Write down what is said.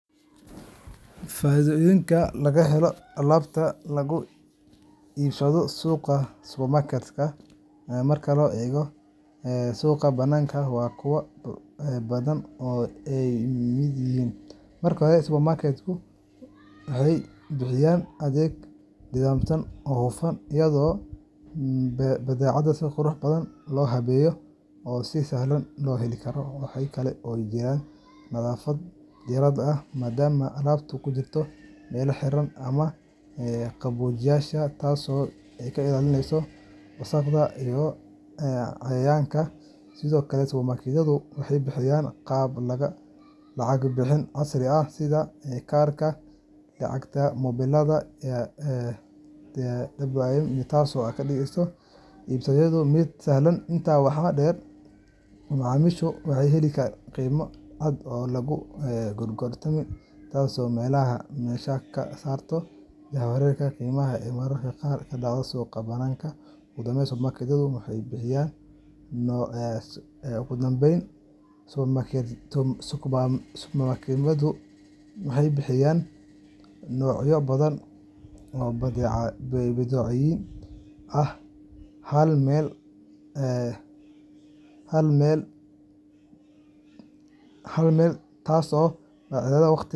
Faaiidooyinka laga helo alaabta laga iibsado suuqa supermarket-ka marka loo eego suuqa banaanka waa kuwo badan oo ay ka mid yihiin: marka hore, supermarket-yadu waxay bixiyaan adeeg nidaamsan oo hufan, iyadoo badeecadaha si qurux badan loo habeeyey oo si sahlan loo heli karo. Waxaa kale oo jira nadaafad dheeraad ah, maadaama alaabtu ku jirto meelaha xiran ama qaboojiyeyaasha, taasoo ka ilaalinaysa wasakhda iyo cayayaanka. Sidoo kale, supermarketyadu waxay bixiyaan qaab lacag-bixin casri ah sida kaarka, lacagta mobilada iwm, taasoo ka dhigaysa iibsashada mid sahlan. Intaa waxaa dheer, macaamiisha waxay helaan qiime cad oo aan lagu gorgortamin, taasoo meesha ka saarta jahwareerka qiimaha ee mararka qaar ka dhaca suuqa banaanka. Ugu dambeyn, supermarket-yadu waxay bixiyaan noocyo badan oo badeecooyin ah hal meel, taasoo badbaadisa waqti .